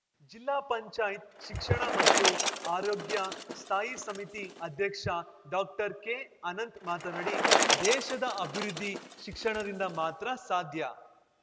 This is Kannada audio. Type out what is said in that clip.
ಜಿಲ್ಲಾ ಪಂಚಾಯತ್ ಶಿಕ್ಷಣ ಮತ್ತು ಆರೋಗ್ಯ ಸ್ಥಾಯಿ ಸಮಿತಿ ಅಧ್ಯಕ್ಷ ಡಾಕ್ಟರ್ಕೆಅನಂತ್‌ ಮಾತನಾಡಿ ದೇಶದ ಅಭಿವೃದ್ಧಿ ಶಿಕ್ಷಣದಿಂದ ಮಾತ್ರ ಸಾಧ್ಯ